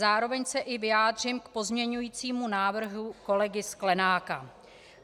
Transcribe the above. Zároveň se i vyjádřím k pozměňovacímu návrhu kolegy Sklenáka.